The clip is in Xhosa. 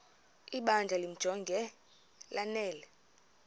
ibandla limjonge lanele